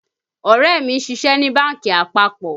Ọ̀rẹ́ mi ń ṣiṣe ní bánkì àpapọ̀